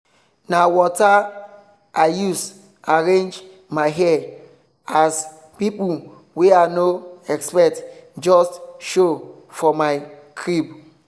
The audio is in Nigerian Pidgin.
na water i use arrange my hair as people wey i no expect just show for my crib.